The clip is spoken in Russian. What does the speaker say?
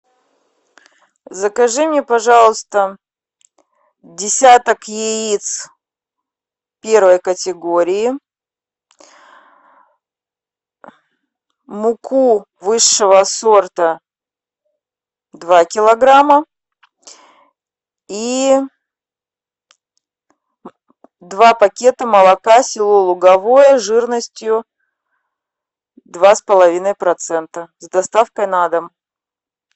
закажи мне пожалуйста десяток яиц первой категории муку высшего сорта два килограмма и два пакета молока село луговое жирностью два с половиной процента с доставкой на дом